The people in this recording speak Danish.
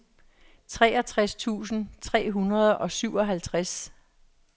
treogtres tusind tre hundrede og syvoghalvtreds